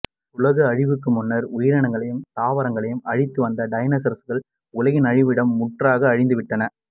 உலக அழிவுக்கு முன்னர் உயிரினங்களையும் தாவரங்களையும் அழித்து வந்த டைனோசரஸ்கள் உலகின் அழிவுடன் முற்றாக அழிந்து விட்டன